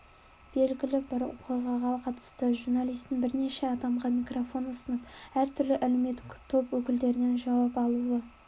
белгілі бір оқиғаға қатысты журналистің бірнеше адамға микрофон ұсынып әр түрлі әлеуметтік топ өкілдерінен жауап алуы